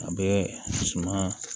A bɛ suma